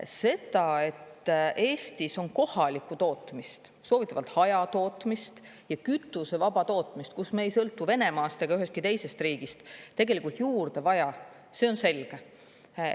Seda, et Eestis on kohalikku tootmist, soovitavalt hajatootmist ja kütusevaba tootmist, kus me ei sõltu Venemaast ega ühestki teisest riigist, tegelikult juurde vaja, see on selge.